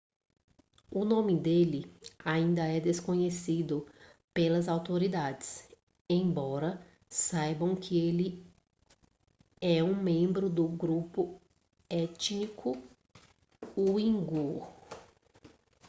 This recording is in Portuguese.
o nome dele ainda é desconhecido pelas autoridades embora saibam que ele é membro do grupo étnico uigur